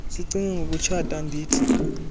sicinge ngokutshata andithi